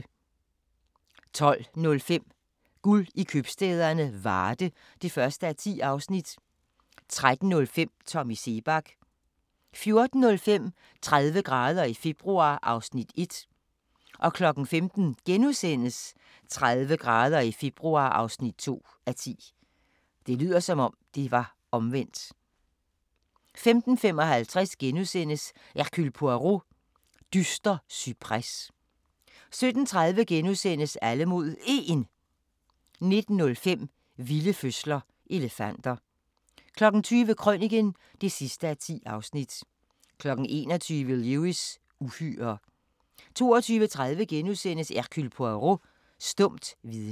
12:05: Guld i købstæderne - Varde (1:10) 13:05: Tommy Seebach 14:05: 30 grader i februar (1:10) 15:00: 30 grader i februar (2:10)* 15:55: Hercule Poirot: Dyster cypres * 17:30: Alle mod 1 * 19:05: Vilde fødsler - elefanter 20:00: Krøniken (10:10) 21:00: Lewis: Uhyrer 22:30: Hercule Poirot: Stumt vidne *